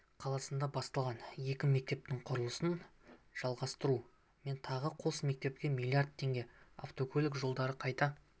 қаласында басталған екі мектептің құрылысын жалғастыру мен тағы қос мектепке млрд теңге автокөлік жолдарын қайта